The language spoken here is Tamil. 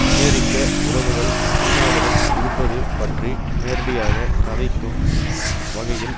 அமெரிக்க உறவுகள் சீனாவுடன் இருப்பது பற்றி நேரடியாக கதைக்கும் வகையில்